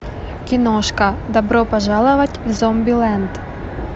киношка добро пожаловать в зомбилэнд